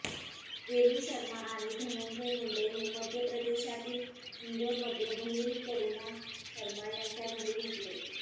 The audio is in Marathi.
रेणू शर्मा आणि धनंजय मुंडे हे मध्यप्रदेशातील इंदोरमध्ये बहिण करुणा शर्मा यांच्या घरी भेटले